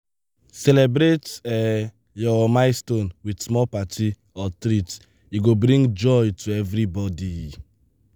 celebrate um your milestone with small party or treat; e go bring joy to everybody.